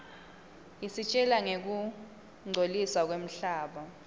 isitjela ngekungcoliswa kwemhlaba